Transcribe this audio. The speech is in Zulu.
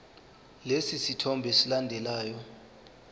lesi sithombe esilandelayo